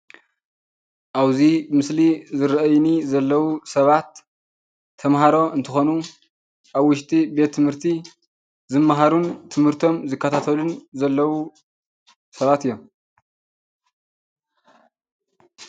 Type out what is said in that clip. ኣብዚ ምስሊ ዝረአዩኒ ዘለው ሰባት ተምሃሮ እንትኾኑ ኣብ ውሽጢ ቤት ትምህርቲ ዝመሃሩን ትምህርቶም ዝከታተሉን ዘለው ሰባት እዮም፡፡